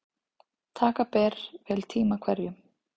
Taka ber vel tíma hverjum.